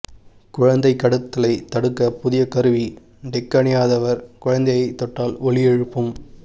குழந்தை கடத்தலை தடுக்க புதிய கருவி டேக் அணியாதவர் குழந்தையை தொட்டால் ஒலி எழுப்பும்